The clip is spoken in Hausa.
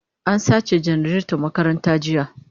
An sace janareton makaranta jiya